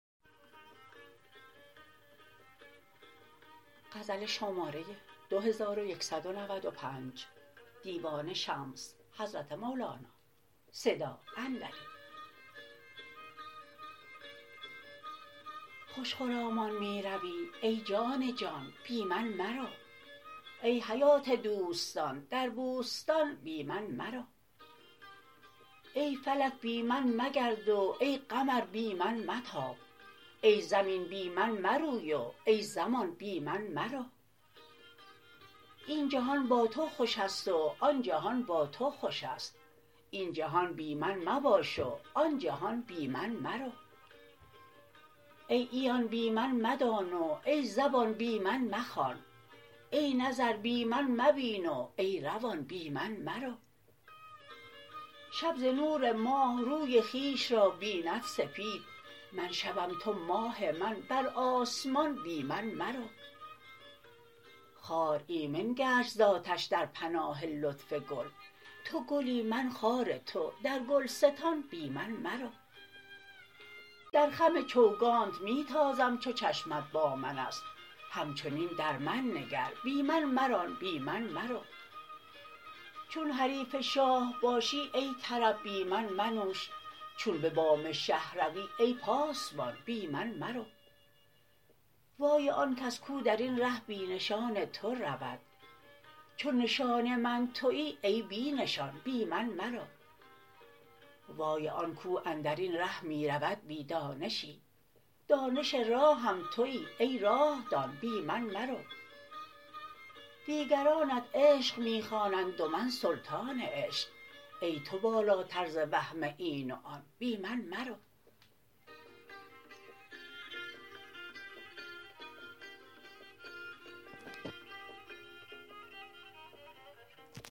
خوش خرامان می روی ای جان جان بی من مرو ای حیات دوستان در بوستان بی من مرو ای فلک بی من مگرد و ای قمر بی من متاب ای زمین بی من مروی و ای زمان بی من مرو این جهان با تو خوش است و آن جهان با تو خوش است این جهان بی من مباش و آن جهان بی من مرو ای عیان بی من مدان و ای زبان بی من مخوان ای نظر بی من مبین و ای روان بی من مرو شب ز نور ماه روی خویش را بیند سپید من شبم تو ماه من بر آسمان بی من مرو خار ایمن گشت ز آتش در پناه لطف گل تو گلی من خار تو در گلستان بی من مرو در خم چوگانت می تازم چو چشمت با من است همچنین در من نگر بی من مران بی من مرو چون حریف شاه باشی ای طرب بی من منوش چون به بام شه روی ای پاسبان بی من مرو وای آن کس کو در این ره بی نشان تو رود چو نشان من توی ای بی نشان بی من مرو وای آن کو اندر این ره می رود بی دانشی دانش راهم توی ای راه دان بی من مرو دیگرانت عشق می خوانند و من سلطان عشق ای تو بالاتر ز وهم این و آن بی من مرو